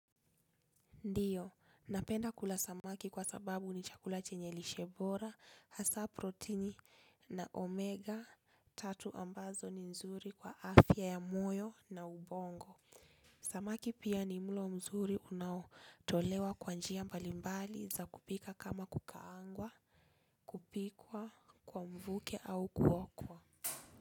Ndiyo, napenda kula samaki kwa sababu ni chakula chenye lishe bora, hasa protini na omega tatu ambazo ni nzuri kwa afya ya moyo na ubongo. Samaki pia ni mlo mzuri unaotolewa kwa njia mbalimbali za kupika kama kukaangwa, kupikwa kwa mvuke au kuokwa.